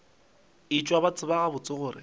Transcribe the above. etšwe ba tseba gabotse gore